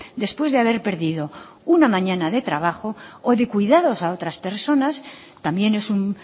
después de haber perdido una mañana de trabajo o en el cuidados a otras personas también es un